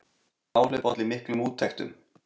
Áhlaup olli miklum úttektum